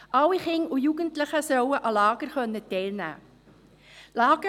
Alle Kinder und Jugendlichen sollen an Lagern teilnehmen können.